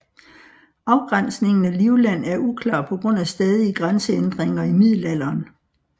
Afgrænsningen af Livland er uklar på grund af stadige grænseændringer i middelalderen